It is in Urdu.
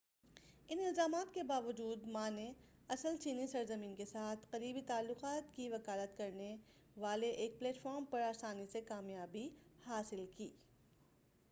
ان الزامات کے باوجود ما نے اصل چینی سرزمین کے ساتھ قریبی تعلقات کی وکالت کرنے والے ایک پلیٹ فارم پر آسانی سے کامیابی حاصل کی